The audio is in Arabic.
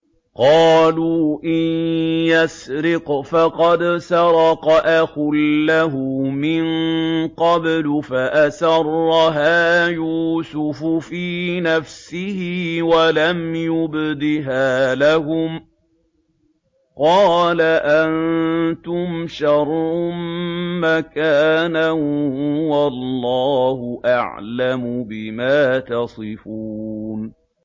۞ قَالُوا إِن يَسْرِقْ فَقَدْ سَرَقَ أَخٌ لَّهُ مِن قَبْلُ ۚ فَأَسَرَّهَا يُوسُفُ فِي نَفْسِهِ وَلَمْ يُبْدِهَا لَهُمْ ۚ قَالَ أَنتُمْ شَرٌّ مَّكَانًا ۖ وَاللَّهُ أَعْلَمُ بِمَا تَصِفُونَ